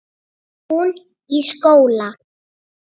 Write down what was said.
Hún í skóla.